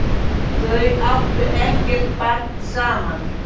Þau áttu ekkert barn saman.